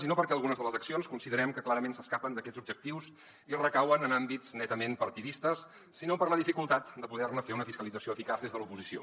i no perquè algunes de les accions considerem que clarament s’escapen d’aquests objectius i recauen en àmbits netament partidistes sinó per la dificultat de poder ne fer una fiscalització eficaç des de l’oposició